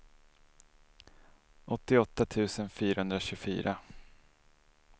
åttioåtta tusen fyrahundratjugofyra